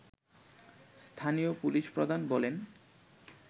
স্থানীয় পুলিশ প্রধান বলেন